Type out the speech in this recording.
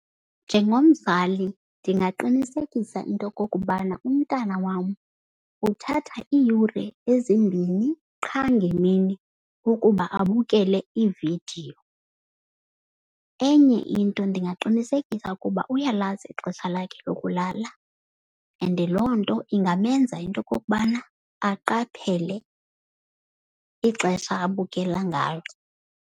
Njengomzali ndingaqinisekisa into yokokubana umntana wam uthatha iiyure ezimbini qha ngemini ukuba abukele iividiyo. Enye into ndingaqinisekisa ukuba uyalazi ixesha lakhe lokulala and loo nto ingamenza into yokokubana aqaphele ixesha abukele ngalo.